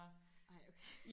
ej okay